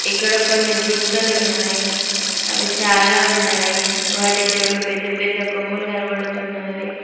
ఇక్కడ కొన్ని జింకలున్నాయి అవి చాలా ఉన్నాయి వాటికి రెండు పెద్ద పెద్ద కొమ్ములు కనపడుతున్నవి.